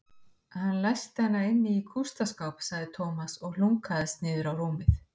Hann læsti hana inni í kústaskáp sagði Tómas og hlunkaðist niður á rúmið.